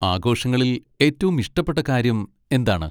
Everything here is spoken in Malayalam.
ആഘോഷങ്ങളിൽ ഏറ്റവും ഇഷ്ടപ്പെട്ട കാര്യം എന്താണ്?